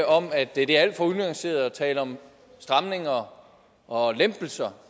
om at det er alt for unuanceret at tale om stramninger og lempelser